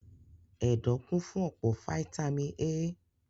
Ẹ̀dọ̀ kún fún ọ̀pọ̀ fataímìn A.